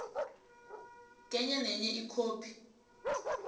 kenye nenye ikhophi